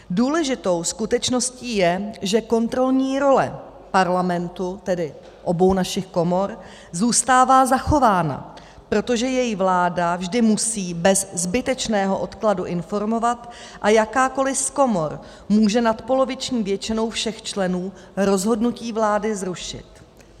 Důležitou skutečností je, že kontrolní role Parlamentu, tedy obou našich komor, zůstává zachována, protože jej vláda vždy musí bez zbytečného odkladu informovat a jakákoliv z komor může nadpoloviční většinou všech členů rozhodnutí vlády zrušit.